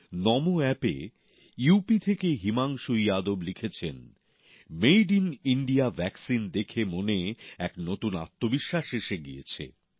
নমো অ্যাপে U P থেকে হিমাংশু যাদব লিখেছেন মেড ইন ইণ্ডিয়া টিকা দেখে মনে এক নতুন আত্মবিশ্বাস এসে গিয়েছে